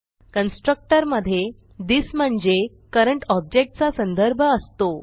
constructor मधे this म्हणजे current object चा संदर्भ असतो